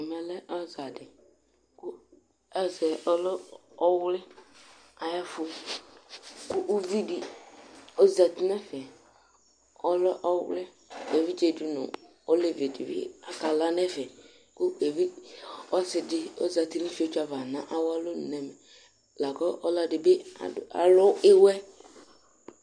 Namu aza di kʋ azɛ ɔwli ayʋ ɛfʋ, kʋ uvi di ozǝti nʋ ɛfɛ, ɔlɛ ɔwlɩ Evidze di nʋ alevi dini akala nʋ ɛfɛ kʋ ɔsɩ di ozǝti nʋ ifiotso ava nʋ awu alɔnʋ nʋ ɛvɛ, lakʋ ɔlɔdɩ bɩ alu ɩwɛ